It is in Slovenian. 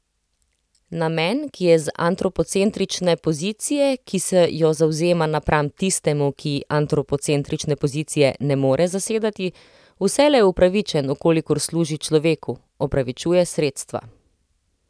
Namen, ki je z antropocentrične pozicije, ki se jo zavzema napram tistemu, ki antropocentrične pozicije ne more zasedati, vselej upravičen, v kolikor služi človeku, opravičuje sredstva.